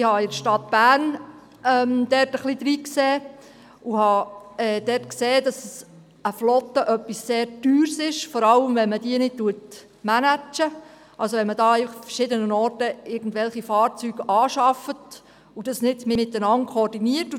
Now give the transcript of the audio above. Ich habe bei der Stadt Bern einige Erfahrungen gemacht und gemerkt, dass eine Flotte sehr teuer ist, vor allem wenn sie nicht gemanaged wird, das heisst, wenn verschiedene Bereiche Fahrzeuge anschaffen und diese Anschaffungen nicht miteinander koordiniert werden.